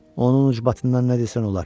Onun ucbatından nə desən olar.